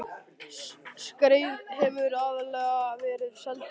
Skreið hefur aðallega verið seld til